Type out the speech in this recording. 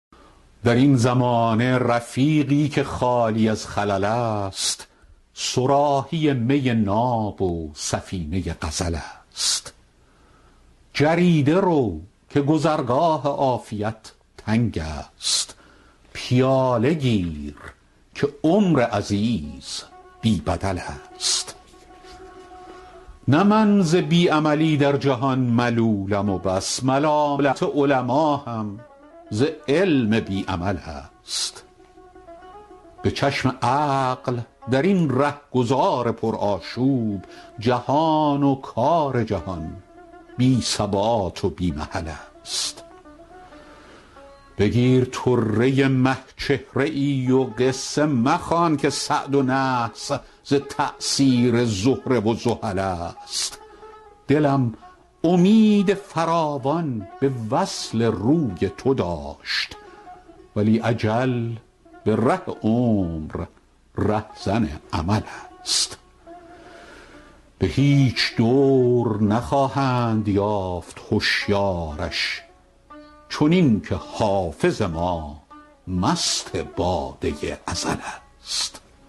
در این زمانه رفیقی که خالی از خلل است صراحی می ناب و سفینه غزل است جریده رو که گذرگاه عافیت تنگ است پیاله گیر که عمر عزیز بی بدل است نه من ز بی عملی در جهان ملولم و بس ملالت علما هم ز علم بی عمل است به چشم عقل در این رهگذار پرآشوب جهان و کار جهان بی ثبات و بی محل است بگیر طره مه چهره ای و قصه مخوان که سعد و نحس ز تأثیر زهره و زحل است دلم امید فراوان به وصل روی تو داشت ولی اجل به ره عمر رهزن امل است به هیچ دور نخواهند یافت هشیارش چنین که حافظ ما مست باده ازل است